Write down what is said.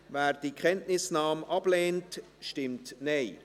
Wer diese Kenntnisnahme ablehnt, stimmt Nein.